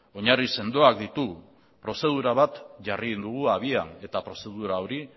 oinarri sendoak ditu prozedura bat jarri egin dugu abian eta prozedura hori